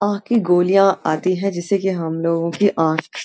आंख की गोलियां आती है जिससे की हम लोगों की आंख --